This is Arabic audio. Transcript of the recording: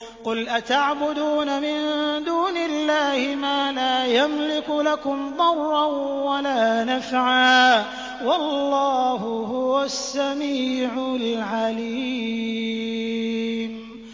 قُلْ أَتَعْبُدُونَ مِن دُونِ اللَّهِ مَا لَا يَمْلِكُ لَكُمْ ضَرًّا وَلَا نَفْعًا ۚ وَاللَّهُ هُوَ السَّمِيعُ الْعَلِيمُ